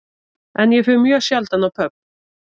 En ég fer mjög sjaldan á pöbb